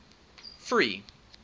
free